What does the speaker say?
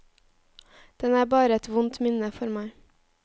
Den er bare et vondt minne for meg.